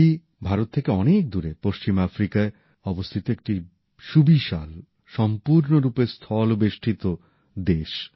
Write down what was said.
মালি ভারত থেকে অনেক দূরে পশ্চিম আফ্রিকায় অবস্থিত একটি সুবিশাল সম্পূর্ণরূপে স্থলবেষ্টিত দেশ